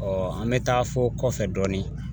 an mɛ taa fɔ kɔfɛ dɔɔnin